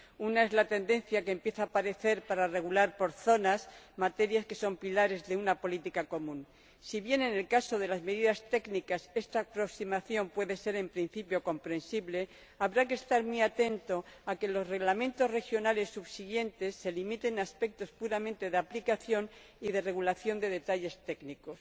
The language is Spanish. Una es la tendencia que empieza a aparecer para regular por zonas materias que son pilares de una política común. Si bien en el caso de las medidas técnicas esta aproximación puede ser, en principio, comprensible, habrá que estar muy atento a que los reglamentos regionales subsiguientes se limiten a aspectos puramente de aplicación y de regulación de detalles técnicos.